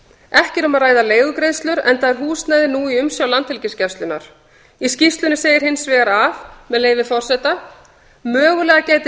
ekki er um að ræða leigugreiðslur enda er húsnæðið nú í umsjá landhelgisgæslunnar í skýrslunni segir hins vegar með leyfi forseta mögulega gæti